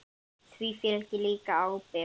Því fylgir líka ábyrgð.